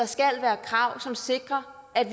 skal være krav som sikrer at